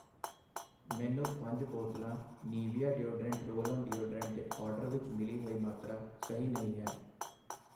ਮੈਨੂੰ ਪੰਜ ਬੋਤਲਾਂ Nivea deodorant roll on deodorant ਦੇ ਆਰਡਰ ਵਿੱਚ ਮਿਲੀ ਹੋਈ ਮਾਤਰਾ ਸਹੀ ਨਹੀਂ ਹੈ।